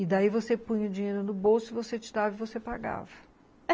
E daí você põe o dinheiro no bolso, você tirava e você pagava.